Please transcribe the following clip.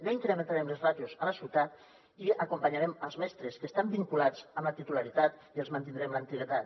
no incrementarem les ràtios a la ciutat i acompanyarem els mestres que estan vinculats amb la titularitat i els mantindrem l’antiguitat